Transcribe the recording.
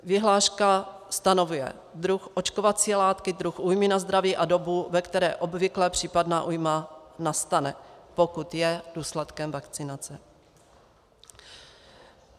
Vyhláška stanovuje druh očkovací látky, druh újmy na zdraví a dobu, ve které obvykle případná újma nastane, pokud je důsledkem vakcinace.